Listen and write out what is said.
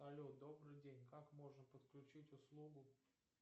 але добрый день как можно подключить услугу